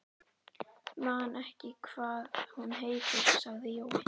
Man ekki hvað hún heitir, sagði Jói.